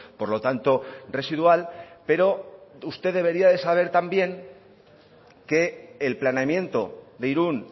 por lo tanto residual pero usted debería de saber también que el planeamiento de irun